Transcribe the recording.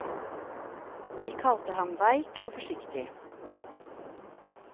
De kalte ham veik og forsiktig.